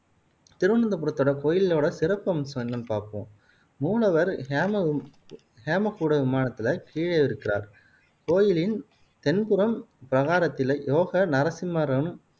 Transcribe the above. திருவனந்தபுரத்தோட கோயிலோட சிறப்பம்சம் என்னன்னு பாப்போம் மூலவர் ஹேம ஹேம கூடவிமானத்துல கீழே இருக்கிறார். கோயிலின் தென்புறம் பிரகாரத்தில் யோக நரஸிம்மரும்,